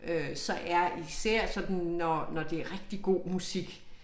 Øh så er især sådan når når det rigtig god musik